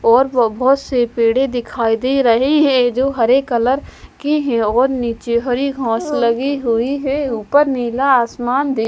और बहुत से पेड़े दिखाई दे रहे हैं जो हरे कलर के हैं और नीचे हरी घास लगे हुए हैं ऊपर नीला --